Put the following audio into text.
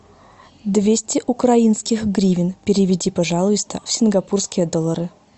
двести украинских гривен переведи пожалуйста в сингапурские доллары